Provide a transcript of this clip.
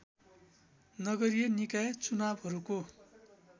नगरीय निकाय चुनावहरूको